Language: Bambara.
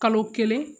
Kalo kelen